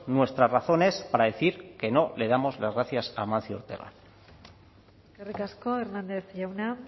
nuestras razones para decir que no le damos las gracias a amancio ortega eskerrik asko hernández jauna